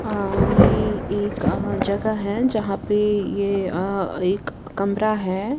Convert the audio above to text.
अ ये एक जगह है जहाँ पे ये एक कमरा है।